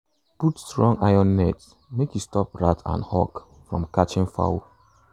put strong iron net make e stop rat and hawk from catching fowl.